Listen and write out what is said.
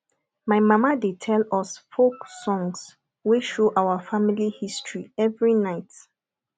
my mama dey tell us folk songs wey show our family history every night